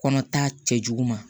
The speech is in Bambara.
Kɔnɔ ta cɛjugu ma